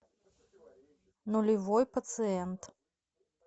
нулевой пациент